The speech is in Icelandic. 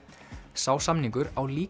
sá samningur á líka